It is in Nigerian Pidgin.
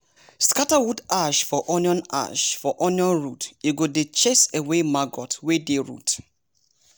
scatter wood ash for onion ash for onion root e go dey chase away maggot wey dey root!